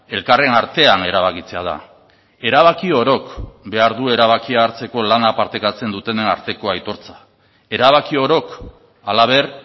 elkarren artean erabakitzea da erabaki orok behar du erabakia hartzeko lana partekatzen dutenen arteko aitortza erabaki orok halaber